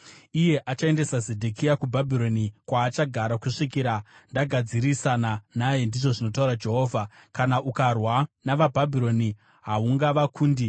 Iye achaendesa Zedhekia kuBhabhironi, kwaachagara kusvikira ndagadzirisana naye, ndizvo zvinotaura Jehovha. Kana ukarwa navaBhabhironi haungavakundi.’ ”